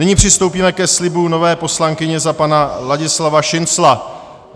Nyní přistoupíme ke slibu nové poslankyně za pana Ladislava Šincla.